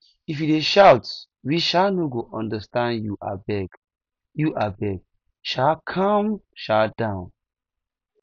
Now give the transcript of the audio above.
if you dey shout we um no go understand you abeg you abeg um calm um down